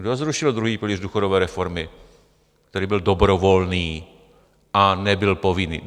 Kdo zrušil druhý pilíř důchodové reformy, který byl dobrovolný a nebyl povinný?